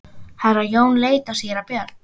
Herra Jón leit á síra Björn.